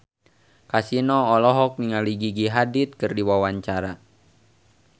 Kasino olohok ningali Gigi Hadid keur diwawancara